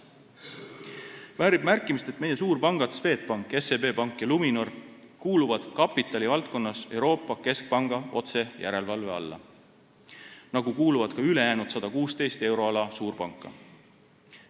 Väärib märkimist, et meie suurpangad Swedbank, SEB Pank ja Luminor kuuluvad kapitali valdkonnas Euroopa Keskpanga otsejärelevalve alla nagu ka ülejäänud 116 euroala suurpanka.